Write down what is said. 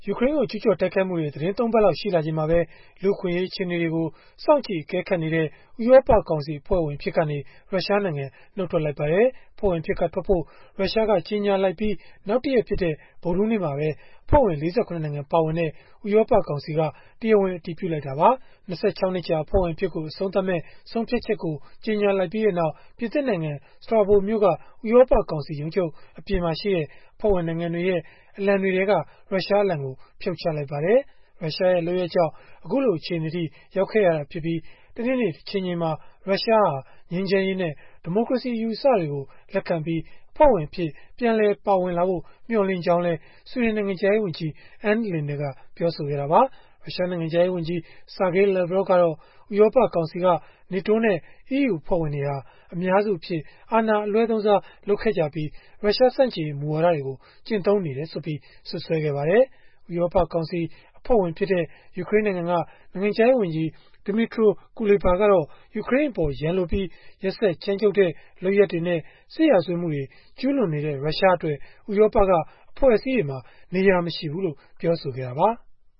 ူကရိန်းကို ကျုးကျော်တိုက်ခိုက်မှုတွေ သီတင်း ၃ ပတ်လောက် ရှိလာချိန်မှာပဲ လူ့အခွင့်အရေး အခြေအနေတွေကို စောင့်ကြည့် အကဲခတ်နေတဲ့ ဥရောပကောင်စီ အဖွဲ့ဝင် အဖြစ်ကနေ ရုရှားနိုင်ငံ နုတ်ထွက်လိုက်ပါတယ်။ အဖွဲ့ဝင်အဖြစ်ကထွက်ဖို့ ရုရှားကကြေညာလိုက်ပြီး နောက်တရက်ဖြစ်တဲ့ ဗုဒ္ဓဟူးနေ့မှာပဲ အဖွဲ့ဝင် ၄၇ နိုင်ငံ ပါဝင်တဲ့ ဥရောပကောင်စီက တရားဝင် အတည်ပြုလိုက်တာပါ။ ၂၆ နှစ်ကြာ အဖွဲ့ဝင်အဖြစ်ကို အဆုံးသတ်မယ့် ဆုံးဖြတ်ချက်ကို ကြေညာလိုက်ပြီးနောက် ပြင်သစ်နိုင်ငံ Strasbourg မြို့က ဥရောပကောင်စီ ရုံးချုပ်အပြင်မှာရှိတဲ့ အဖွဲ့ဝင်နိုင်ငံတွေရဲ့ အလံတွေထဲက ရုရှားအလံကို ဖြုတ်ချလိုက်ပါတယ်။ ရုရှားရဲ့ လုပ်ရပ်ကြောင့် အခုလို အခြေအနေအထိ ရောက်ခဲ့ရတာဖြစ်ပြီး တနေ့နေ့ တချိန်ချိန်မှာ ရုရှားဟာ ငြိမ်းချမ်းရေးနဲ့ ဒီမိုကရေစီအယူအဆတွေကို လက်ခံပြီး အဖွဲ့ဝင်အဖြစ် ပြန်လည်ပါဝင်လာဖို့ မျှော်လင့်ကြောင်းလည်း ဆွီဒင်နိုင်ငံခြားရေးဝန်ကြီး Ann Linde ကပြောဆိုခဲ့တာပါ။ ရုရှားနိုင်ငံခြားရေးဝန်ကြီး Sergey Lavrov ကတော့ ဥရောပကောင်စီက NATO နဲ့ EU အဖွဲ့ဝင်တွေဟာ အများစုအဖြစ် အာဏာအလွဲသုံးစား လုပ်ခဲ့ကြပြီး ရုရှားဆန့်ကျင်ရေး မူဝါဒတွေကို ကျင့်သုံးနေတယ်ဆိုပြီး စွပ်စွဲခဲ့ပါတယ်။ ဥရောပကောင်စီ အဖွဲ့ဝင်ဖြစ်တဲ့ ယူကရိန်းနိုင်ငံက နိုင်ငံခြားရေးဝန်ကြီး Dmytro Kuleba ကတော့ ယူကရိန်းအပေါ် ရန်လိုပြီး ရက်စက်ကြမ်းကြုတ်တဲ့ လုပ်ရပ်တွေနဲ့ စစ်ရာဇဝတ်မှုတွေ ကျုးလွန်နေတဲ့ ရုရှားအတွက် ဥရောပကအဖွဲ့အစည်းတွေမှာ နေရာမရှိဘူးလို့ ပြောဆိုခဲ့တာပါ။